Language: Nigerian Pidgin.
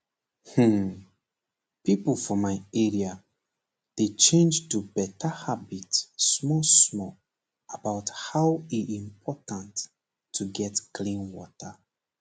hmm pipo for my area dey change to better habit small small about how e important to get clean water